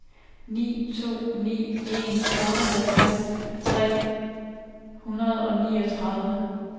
ni to ni en otteoghalvtreds tre hundrede og niogtredive